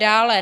Dále.